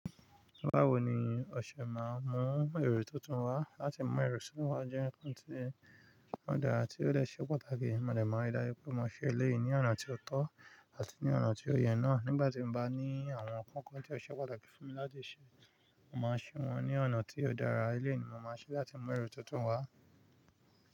Báwo ni Ọṣẹ máa mú èrò tuntun wá láti mú ẹrù sí wa jẹ́, kí ń tí wọn dà á tí ó dẹ́ ṣẹ pàtàkì? Mọ̀dá máa ri daju pé mo ṣẹ eléyìí ní ọ̀nà tí ó tọ́ àti ní ọ̀nà tí ó yẹ náà. Nígbà tí mo bá ní àwọn kọ́kọ́ tí ó ṣe pàtàkì fún mi láti ṣe, mo máa ṣe wọ́n ní ọ̀nà tí ó dára. Eléyìí ni mo máa ṣe láti mú ẹrù tuntun wá.